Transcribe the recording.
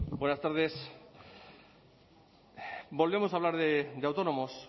buenas tardes volvemos a hablar de autónomos